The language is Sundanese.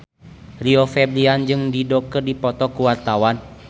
Rio Febrian jeung Dido keur dipoto ku wartawan